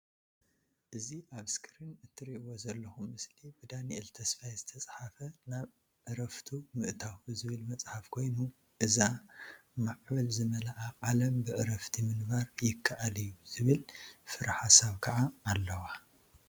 እዚ ኣብ እስክሪን እትሪእዎ ዘልኩም ምስሊ ብዳኒኤል ተስፋይ ዝተፀሓፈ ናብ ዕረፉቱ ምእታዉ ዝብል መፅሓፍ ኮይኑ ኣብዛ ማዕበል ዝመልኣ ዓለም ብዕረፍቲ ምንባር ይከኣል እዩ ዝብል ፍረ ሓሳብ ከዓ ኣለዋ